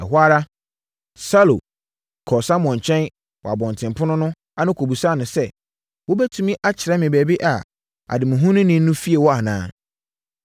Ɛhɔ ara, Saulo kɔɔ Samuel nkyɛn wɔ abɔntenpono no ano kɔbisaa no sɛ, “Wobɛtumi akyerɛ me baabi a ademuhununi no fie wɔ anaa?”